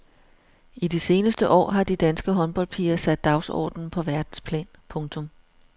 I de seneste år har de danske håndboldpiger sat dagsordenen på verdensplan. punktum